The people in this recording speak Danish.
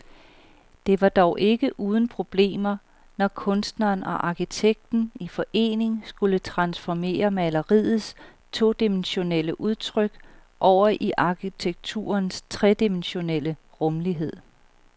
Det var dog ikke uden problemer, når kunstneren og arkitekten i forening skulle transformere maleriets todimensionelle udtryk over i arkitekturens tredimensionelle rumlighed.